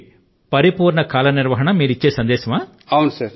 అంటే పరిపూర్ణ కాల నిర్వహణ అనేదే మీ సందేశమా